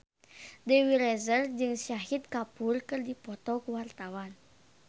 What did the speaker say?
Dewi Rezer jeung Shahid Kapoor keur dipoto ku wartawan